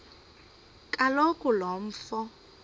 kaloku lo mfo